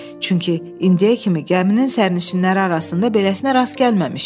Çünki indiyə kimi gəminin sənişinləri arasında beləsinə rast gəlməmişdi.